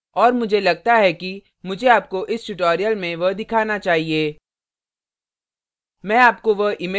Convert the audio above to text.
और मुझे लगता है कि मुझे आपको इस tutorial में वह दिखाना चाहिए